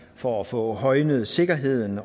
for at få højnet sikkerheden